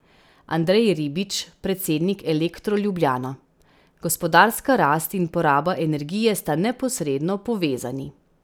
Andrej Ribič, predsednik Elektro Ljubljana: "Gospodarska rast in poraba energije sta neposredno povezani.